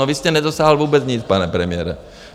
No vy jste nedosáhl vůbec nic, pane premiére.